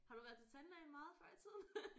Har du været til tandlægen meget før i tiden?